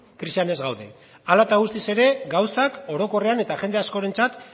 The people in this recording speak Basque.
krisian ez gaude hala eta guztiz ere gauzak orokorrean eta jende askorentzat